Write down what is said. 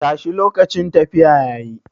Tashi lokacin tafiya yayi.